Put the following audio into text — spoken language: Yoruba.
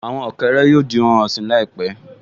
Àwọn ọ̀kẹ́rẹ́ yóò di ohun ọ̀sìn láìpẹ́